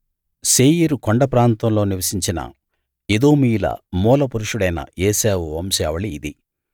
శేయీరు కొండ ప్రాంతంలో నివసించిన ఎదోమీయుల మూల పురుషుడైన ఏశావు వంశావళి ఇది